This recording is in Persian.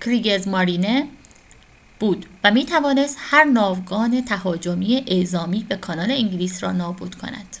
«کریگزمارینه» بود و می‌توانست هر ناوگان تهاجمی اعزامی به کانال انگلیس را نابود کند